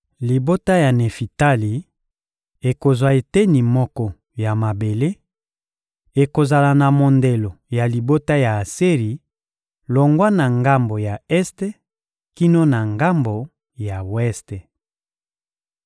Libota ya Nefitali ekozwa eteni moko ya mabele: ekozala na mondelo ya libota ya Aseri, longwa na ngambo ya este kino na ngambo ya weste.